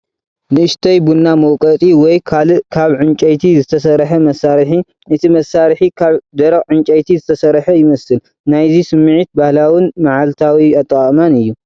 ንእሽተይ ቡና መውቀጢ ወይ ካልእ ካብ ዕንጨይቲ ዝተሰርሐ መሳርሒ። እቲ መሳርሒ ካብ ደረቕ ዕንጨይቲ ዝተሰርሐ ይመስል፣ ናይዚ ስምዒት ባህላውን መዓልታዊ ኣጠቓቕማን እዩ።